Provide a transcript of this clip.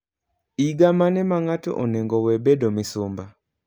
Iga mane ma ngato onego wee bedo misumba?